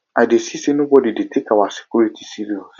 i dey see say nobody dey take our security serious